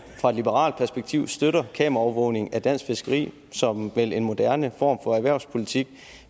fra liberal alliances perspektiv støtter kameraovervågning af dansk fiskeri som vel en moderne form for erhvervspolitik